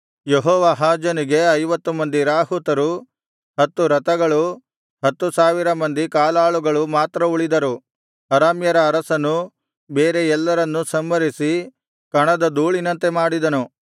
ಯೆಹೋವಾಹಾಜನಿಗೆ ಐವತ್ತು ಮಂದಿ ರಾಹುತರು ಹತ್ತು ರಥಗಳು ಹತ್ತು ಸಾವಿರ ಮಂದಿ ಕಾಲಾಳುಗಳು ಮಾತ್ರ ಉಳಿದರು ಅರಾಮ್ಯರ ಅರಸನು ಬೇರೆ ಎಲ್ಲರನ್ನೂ ಸಂಹರಿಸಿ ಕಣದ ಧೂಳಿನಂತೆ ಮಾಡಿದನು